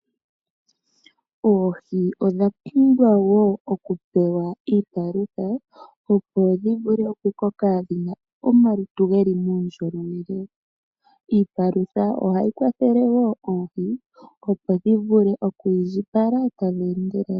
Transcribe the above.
Oohi odha pumbwa woo oku pewa iipalutha opo dhi vule okukoka dhina omalutu geli muundjolowele. Iipalutha ohayi kwathele woo oohi opo dhi vule okwiindjipala tadhi endelele.